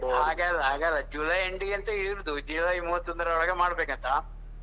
ಅಲ್ಲ ಹಾಗೆ ಅಲ್ಲ ಹಾಗಲ್ಲ ಜುಲೈ end ಗಂತ ಇರುದು ಜುಲೈ ಮೂವತ್ತೊಂದರ ಒಳಗೆ ಮಾಡಬೇಕು ಅಂತ.